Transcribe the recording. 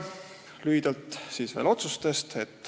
Lühidalt veel otsustest.